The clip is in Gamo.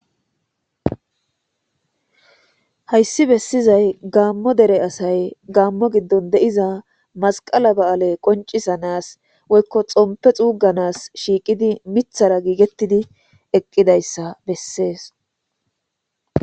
hayssi bessizay gaammo dere asay gaammo giddon deiza masqala ba7ale qoncisanas woykko xompe xuuganas shiiqidi mithara giigettidi eqqidayssa bessees